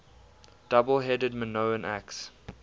double headed minoan axe